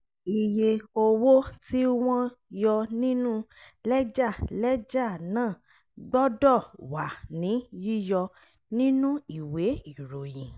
iye owó tí wọ́n yọ nínú lẹ́jà lẹ́jà náà gbọ́dọ̀ wà ní yíyọ nínú ìwé ìròyìn.